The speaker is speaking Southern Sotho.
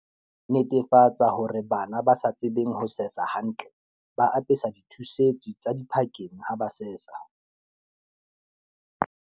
Netefatsa hore bana ba sa tsebeng ho sesa hantle ba apeswa di thusetsi tsa diphakeng ha ba sesa.